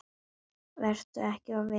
Vertu ekki of viss um það.